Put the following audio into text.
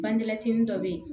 Bangelɛci dɔ bɛ yen